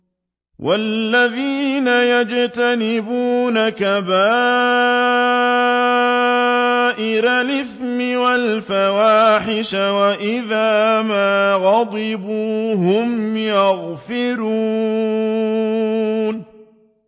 وَالَّذِينَ يَجْتَنِبُونَ كَبَائِرَ الْإِثْمِ وَالْفَوَاحِشَ وَإِذَا مَا غَضِبُوا هُمْ يَغْفِرُونَ